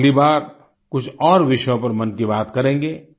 हम अगली बार कुछ और विषयों पर मन की बात करेंगे